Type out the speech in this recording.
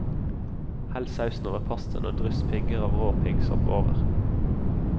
Hell sausen over pastaen og dryss pigger av rå piggsopp over.